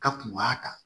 Ka kun b'a kan